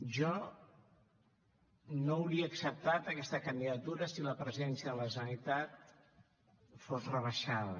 jo no hauria acceptat aquesta candidatura si la presidència de la generalitat fos rebaixada